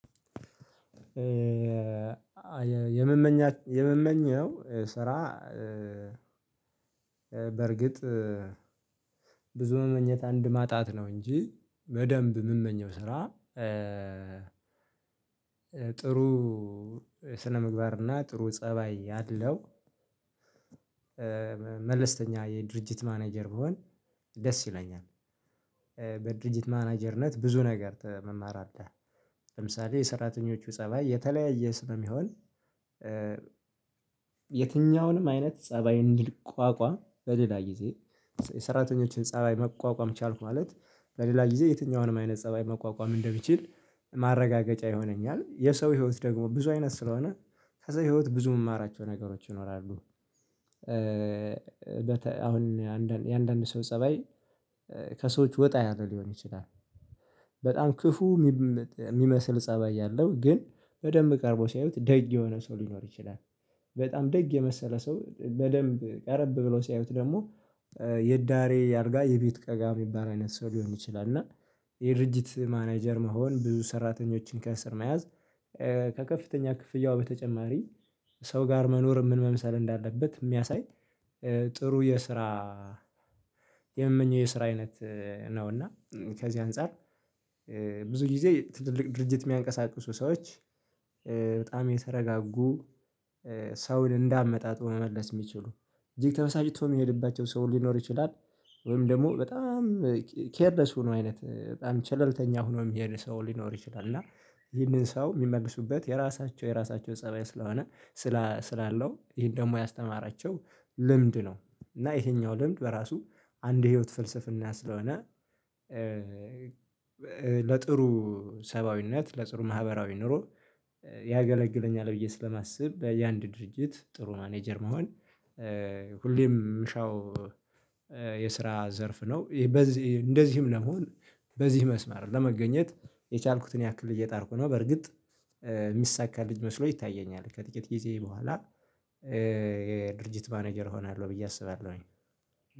የምመኘው ስራ በእርግጥ ብዙ መመኘት አንድ ማጣት ነው። እንጂ በደንብ የምመኘው ስራ። ጥሩ ስነምግባር እና ጥሩ ፀባይ ያለው መለስተኛ የድርጅት ማናጀር ቢሆን ደስ ይለኛል። በድርጅት ማናጀርነት ብዙ ነገር መማር አለ ለምሳሌ የሰራተኞቹ ፀባይ የተለያየ ስለሚሆን። የትኛውንም አይነት ፀባይ እንዲቋቋም በሌላ ጊዜ የሰራተኞችን ፀባይ መቋቋም ቻልኩ ማለት በሌላ ጊዜ የትኛውንም አይነት ፀባይ መቋቋም እንደሚችል ማረጋገጫ ይሆነኛል። የሰው ህይወት ደግሞ ብዙ አይነት ስለሆነ ከዛ ህይወት ብዙ የምማራቸው ነገሮች ይኖራሉ። አሁን የአንዳንድ ሰው ፀባይ ከሰዎች ወጣ ያለ ሊሆን ይችላል። በጣም ክፉ የሚመስል ፀባይ ያለው ግን በደንብ ቀርቦ ሲያዩት ደግ የሆነ ሰው ሊኖር ይችላል። በጣም ደግ የመሰለ ሰው በደንብ ቀርብ ብለው ሲያዩት ደግሞ የዳሪ አልጋ የቤት ቀጋ የሚባል አይነት ሰው ሊሆን ይችላል። እና የድርጅት ማናጀር መሆን ብዙ ሰራተኞችን ከእስር መያዝ ከከፍተኛ ክፍያው በተጨማሪ ሰው ጋር መኖር ምን መምሰል እንዳለበት ሚያሳይ። ጥሩ የስራ የምመኘው የስራ አይነት ነው። እና ከዚህ አንፃር ብዙ ጊዜ ትልልቅ ድርጅት የሚያንቀሳቅሱ ሰዎች በጣም የተረጋጉ ሰውን እንዳመጣጡ መመለስ ሚችሉ እጅግ ተበሳጭቶ የሚሄድባቸው ሰው ሊኖር ይችላል። ወይም ደግሞ በጣም ኬርለስ ሆኖ አይነት በጣም ቸልተኛ ሆኖ የሚሄድ ሰው ሊኖር ይችላል እና ይህንን ሰው የሚመልሱበት የራሳቸው የራሳቸው ፀባይ ስለሆነ። ስላለው ይሄን ደግሞ ያስተማራቸው ልምድ ነው እና ይሄኛው ልምድ በራሱ አንድ ህይወት ፍልስፍና ስለሆነ። ለጥሩ ሰብአዊነት ለጥሩ ማህበራዊ ኑሮ ያገለግለኛል ብዬ ስለማስብ በየ አንድ ድርጅት ጥሩ ማናጀር መሆን ሁሌም ምሻው። የስራ ዘርፍ ነው። እንደዚህም ለመሆን በዚህ መስመር ለመገኘት የቻልኩትን ያክል እየጣርኩ ነው። በርግጥ የሚሳካኝ መስሎ ይታየኛል። ከጥቂት ጊዜ በኋላ የድርጅት ማናጀር እሆናለሁ ብዬ አስባለሁኝ።